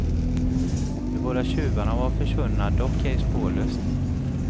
De båda tjuvarna var försvunna, dock ej spårlöst.